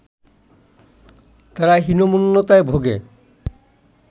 তারা হীনমন্যতায় ভোগে